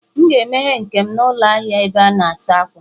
M ga-emeghe nke m n'ụlọ ahịa ebe a na-asa ákwà